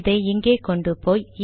இதை இங்கே கொண்டு போய்